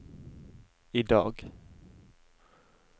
idag